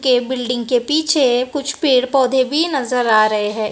के बिल्डिंग के पीछे कुछ पेड़ पौधे भी नजर आ रहे हैं।